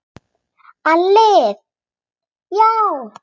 ALLIR: Já!